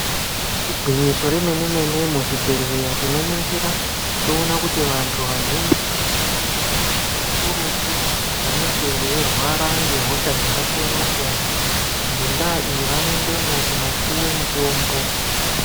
Igwinyiso remene-mene muzvibhedhleya tinoningira toona kuti vantu vazhinji vanoendemwo kakurutu vanenge veirwara ngehosha dzakasiyana-siyana. Ngendaa iyi vanoendemwo kopuva mutombo.